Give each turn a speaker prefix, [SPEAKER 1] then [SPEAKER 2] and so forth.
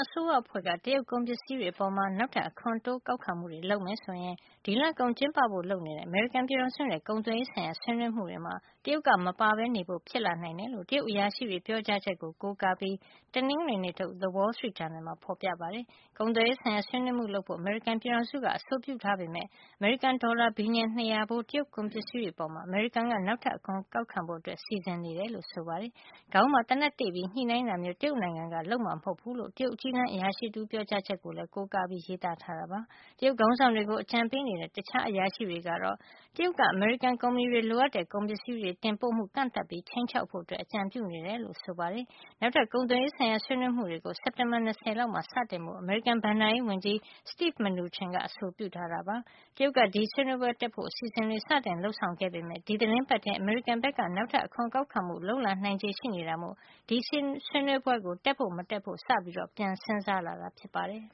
[SPEAKER 1] အစိုးရအဖွဲ့က တရုတ်ကုန်ပစ္စည်းတွေအပေါ် နောက်ထပ် အခွန်တိုးကောက်ခံမှုတွေလုပ်မယ်ဆိုရင် ဒီလကုန်မှာ ကျင်းပဖို့လုပ်နေတဲ့ အမေရိကန်ပြည်ထောင်စုနဲ့ ကုန်သွယ်ရေးဆိုင်ရာ ဆွေးနွေးမှုတွေမှာ တရုတ်က မပါဝင်ဘဲနေဖို့ ဖြစ်လာနိုင်တယ်လို့ တရုတ်အရာရှိတွေရဲ့ ပြောကြားချက်ကို ကိုးကားပြီး တနင်္ဂနွေနေ့ထုတ် Wall Street Journal မှာ ဖော်ပြထားပါတယ်။ ကုန်သွယ်ရေးဆိုင်ရာ ဆွေးနွေးမှုလုပ်ဖို့ အမေရိကန်ပြည်ထောင်စုက အဆိုပြုထားပေမယ့် အမေရိကန်ဒေါ်လာ ဘီလျံ ၂၀၀ ဖိုး တရုတ်ကုန်ပစ္စည်းတွေ အပေါ် အမေရိကန်က နောက်ထပ်အခွန်ကောက်ခံဖို့ စီစဉ်နေတာ ဖြစ်ကြောင်းလည်း ဖော်ပြပါတယ်။ ခေါင်းမှာ သေနတ်တေ့ပြီး ညှိနှိုင်းတာမျိုး တရုတ်နိုင်ငံက လုပ်မှာမဟုတ်ဘူးလို့ တရုတ်အကြီးတန်းအရာရှိတဦးရဲ့ ပြောကြားချက်ကို ကိုးကားပြီး ရေးသားထားတာ ဖြစ်ပါတယ်။ တရုတ်ခေါင်းဆောင်တွေကို အကြံပေးနေတဲ့ တခြားအရာရှိတွေကတော့ တရုတ်က အမေရိကန် ကုမ္ပဏီတွေလိုအပ်တဲ့ ကုန်ပစ္စည်းတွေ တင်ပို့မှုကို ကန့်သတ်ပြီး ခြိမ်းခြောက်ဖို့ အကြံပြုနေတယ်လို့ဆိုပါတယ်။ နောက်ထပ် ကုန်သွယ်ရေးဆိုင်ရာ ဆွေးနွေးမှုကို စက်တင်ဘာလ ၂၀ လောက်မှာ စတင်ဖို့ အမေရိကန်ဘဏ္ဍာရေးဝန်ကြီး Steven Mnuchin က အဆိုပြုထားတာ ဖြစ်ပါတယ်။ တရုတ်က ဒီဆွေးနွေးပွဲကိုတက်ဖို့ အစီစဉ်တွေ စတင်လုပ်ဆောင်ခဲ့ပေမယ့် ဒီသီတင်းပတ်ထဲမှာ အမေရိကန်ဘက်က နောက်ထပ် အခွန်ကောက်ခံမှုတွေ လုပ်လာနိုင်ခြေ ရှိနေတာမို့ ဒီဆွေးနွေးပွဲကို တက်ဖို့ မတက်ဖို့ စပြီး ပြန်စဉ်
[SPEAKER 2] းစားလာတာ ဖြစ်ပါတယ်